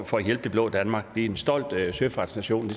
for at hjælpe det blå danmark vi er en stolt søfartsnation